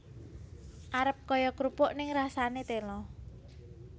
Arep kaya krupuk ning rasane tela